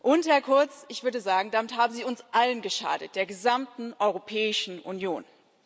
Und, Herr Kurz, ich würde sagen, damit haben Sie uns allen geschadet, der gesamten Europäischen Union.